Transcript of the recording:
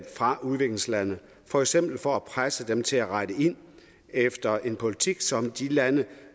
fra udviklingslande for eksempel for at presse dem til at rette ind efter en politik som de lande